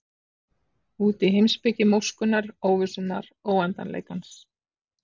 Út í heimspeki móskunnar, óvissunnar, óendanleikans.